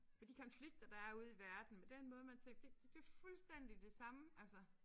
Og de konflikter der er ude i verden med den måde man tænker det det det fuldstændig det samme altså